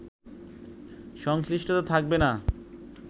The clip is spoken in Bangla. সংশ্লিষ্টতা থাকবে না